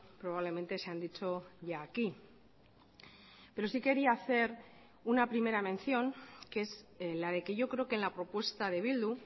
probablemente se han dicho ya aquí pero sí quería hacer una primera mención que es la de que yo creo que en la propuesta de bildu